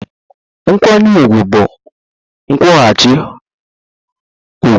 Nkwanye ùgwù bụ nkwụghachi ụgwọ